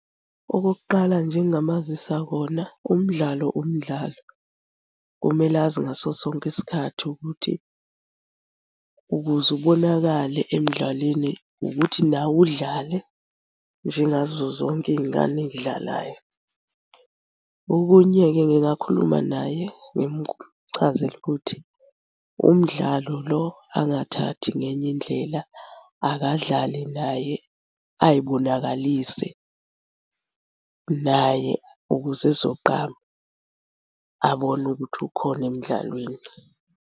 Okokuqala nje engingamazisa kona, umdlalo umdlalo. Kumele azi ngaso sonke isikhathi ukuthi ukuze ubonakale emdlalweni ukuthi nawe udlale njengazo zonke iy'ngane ey'dlalayo. Okunye-ke ngingakhuluma naye ngimchazele ukuthi umdlalo lo angathathi ngenye indlela, akadlale naye ay'bonakalise naye ukuze ezogqama abone ukuthi ukhona emdlalweni.